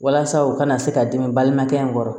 Walasa u kana se ka dimi balimakɛ in kɔrɔ